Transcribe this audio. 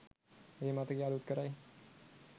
ඒ මතකය අලුත් කරයි.